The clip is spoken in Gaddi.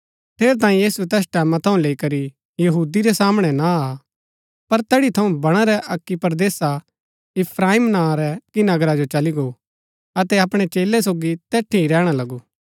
ठेरैतांये यीशु तैस टैमां थऊँ लैई करी यहूदी रै सामणै ना आ पर तैड़ी थऊँ बणा रै अक्की परदेसा इफ्राईम नां रै अक्की नगरा जो चली गो अतै अपणै चेलै सोगी तैड़ी ही रैहणा लगु